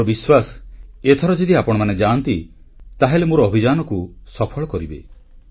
ମୋର ବିଶ୍ୱାସ ଏଥର ଯଦି ଆପଣମାନେ ଯାଆନ୍ତି ତାହେଲେ ମୋର ଅଭିଯାନକୁ ସଫଳ କରିବେ